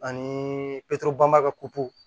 Ani bɔn baga pupu